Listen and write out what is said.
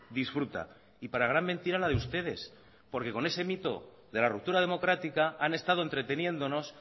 disfruta y para gran mentira la de ustedes porque con ese mito de la ruptura democrática han estado entreteniéndonos